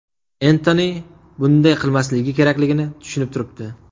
Entoni bunday qilmasligi kerakligini tushunib turibdi.